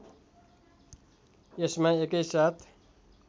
यसमा एकैसाथ